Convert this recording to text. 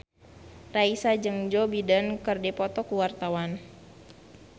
Raisa jeung Joe Biden keur dipoto ku wartawan